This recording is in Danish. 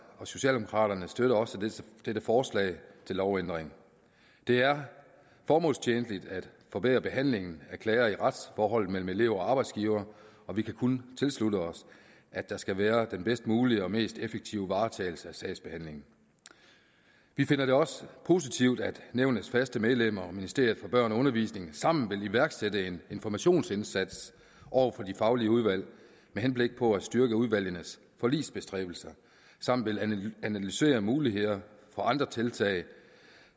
og socialdemokraterne støtter også dette forslag til lovændring det er formålstjenligt at forbedre behandlingen af klager i retsforholdet mellem elever og arbejdsgivere og vi kan kun tilslutte os at der skal være den bedst mulige og mest effektive varetagelse af sagsbehandlingen vi finder det også positivt at nævnets faste medlemmer og ministeriet for børn og undervisning sammen vil iværksætte en informationsindsats over for de faglige udvalg med henblik på at styrke udvalgenes forligsbestræbelser og sammen vil analysere muligheder for andre tiltag